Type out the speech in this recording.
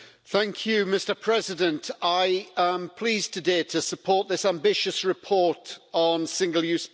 Mr President, I am pleased today to support this ambitious report on single-use plastics.